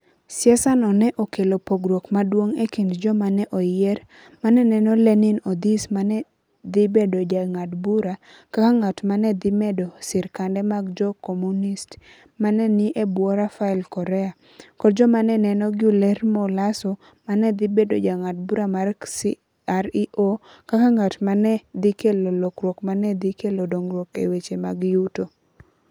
siasano ne okelo pogruok maduong ' e kind joma ne oyier, ma ne neno LeninOdhis ma ne dhi bedo jang'ad bura, kaka ng'at ma ne dhi medo sirkande mag Jo - Komunist ma ne ni e bwo Rafael Correa, kod joma ne neno Guillermo Lasso ma ne dhi bedo jang'ad bura mar CREO, kaka ng'at ma ne dhi kelo lokruok ma ne dhi kelo dongruok e weche mag yuto.